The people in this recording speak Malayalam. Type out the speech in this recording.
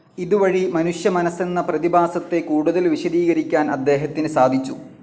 ഇത് വഴി മനുഷ്യ മനസെന്ന പ്രതിഭാസത്തെ കൂടുതൽ വിശദീകരിക്കാൻ അദ്ദേഹത്തിന് സാധിച്ചു.